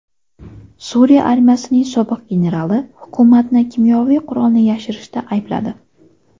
Suriya armiyasining sobiq generali hukumatni kimyoviy qurolni yashirishda aybladi.